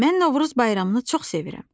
Mən Novruz bayramını çox sevirəm.